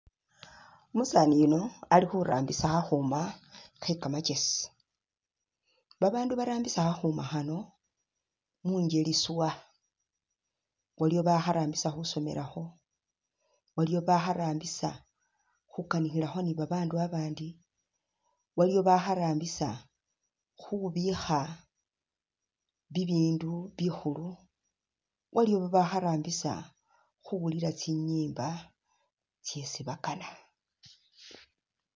Umusaani yuno ali khurambisa khakhuma khekamakesi, babaandu barambisa khakhuma khano mungeli swaa, waliwo bakharambisa khusomelakho, waliwo bakharambisa khukanikhilakho ni babaandu babandi, waliwo bakharambisa khubikha bibindu bikhulu, waliwo babakharambisa. khuwulila tsinyimba tsyesi bakaana